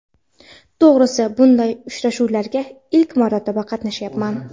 To‘g‘risi, bunday uchrashuvlarga ilk marotaba qatnashyapman.